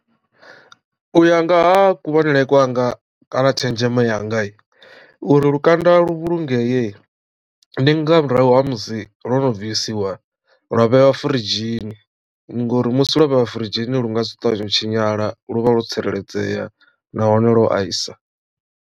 U ya nga ha kuvhonele kwanga kana tshenzhemo yanga uri lukanda lu vhulungee ndi nga murahu ha musi lo no bvisiwa lwa vhewa furidzhini ngori musi lwo vheiwa firidzhini lu nga si ṱavhanyedze u tshinyala lu vha lwo tsireledzea nahone lwo aisa.